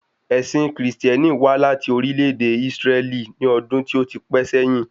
Ẹ̀sìn Kristẹni wà láti orílè èdè Isreli ni ọdún tó ti pẹ́ sẹ́yin